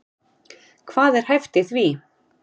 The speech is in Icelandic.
Hvað er hæft í því?